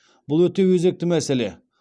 бұл өте өзекті мәселе